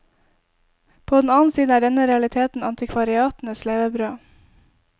På den annen side er denne realiteten antikvariatenes levebrød.